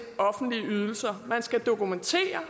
offentlige ydelser man skal dokumentere